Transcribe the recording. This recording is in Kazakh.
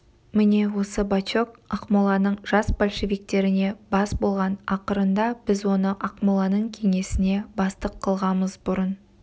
міне осы бачок ақмоланың жас большевиктеріне бас болған ақырында біз оны ақмоланың кеңесіне бастық қылғамыз бұрын